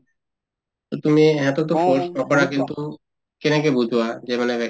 অ, তুমি সিহঁতকতো force নকৰা কিন্তু কেনেকে বুজোৱা যে মানে